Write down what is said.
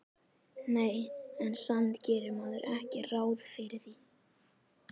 Nei, en samt gerir maður ekki ráð fyrir því